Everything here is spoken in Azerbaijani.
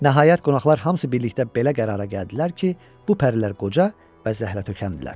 Nəhayət, qonaqlar hamısı birlikdə belə qərara gəldilər ki, bu pərilər qoca və zəhlətökəndirlər.